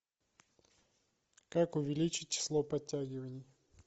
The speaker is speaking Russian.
как увеличить число подтягиваний